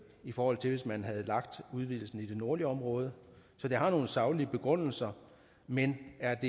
i forhold til hvis man havde lagt udvidelsen i det nordlige område så det har nogle saglige begrundelser men er